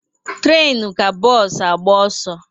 Trenu ka bos agba oso